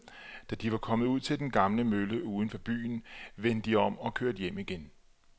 Da de var kommet ud til den gamle mølle uden for byen, vendte de om og kørte hjem igen.